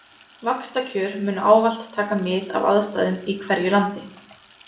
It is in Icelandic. Vaxtakjör munu ávallt taka mið af aðstæðum í hverju landi.